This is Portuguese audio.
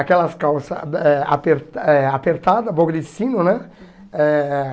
Aquelas calça eh aper eh apertada, boca de sino, né? Eh